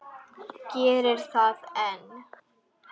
Gerir það enn.